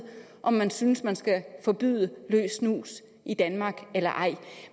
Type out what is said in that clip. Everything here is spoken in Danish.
om man synes man skal forbyde løs snus i danmark eller ej